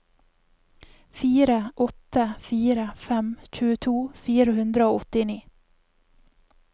fire åtte fire fem tjueto fire hundre og åttini